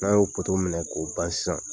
N'a y'o minɛ k'o ban sisan.